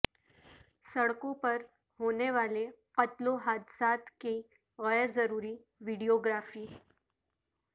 سڑکوں پر ہونے والے قتل و حادثات کی غیرضروری ویڈیو گرافی